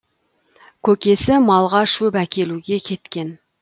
көкесі малға шөп әкелуге кеткен